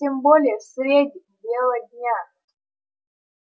тем более средь бела дня